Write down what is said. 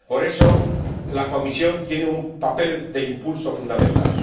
Por eso, la Comisión tiene un papel de impulso fundamental.